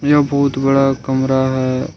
यह बहुत बड़ा कमरा है।